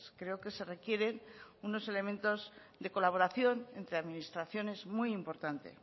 creo que se requieren unos elementos de colaboración entre administraciones muy importante